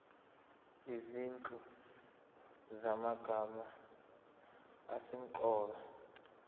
izinhlu zamagama asemqoka